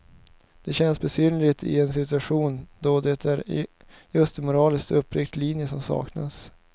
Det känns besynnerligt i en situation då det är just en moraliskt uppriktig linje som saknas.